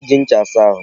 E ji ncha asa ahụ.